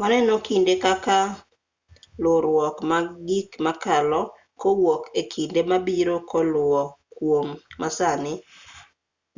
waneno kinde kaka luwruok mag gik makalo kowuok e kinde mabiro koluwo kuom masani